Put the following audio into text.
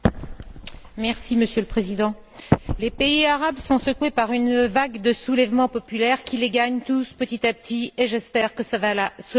Monsieur le Président, les pays arabes sont secoués par une vague de soulèvements populaires qui les gagne tous petit à petit et j'espère que cela va continuer.